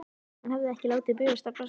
Hann hafði ekki látið bugast af baslinu.